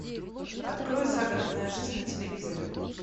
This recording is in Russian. открой загородная жизнь на телевизоре